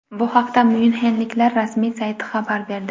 Bu haqda myunxenliklar rasmiy sayti xabar berdi.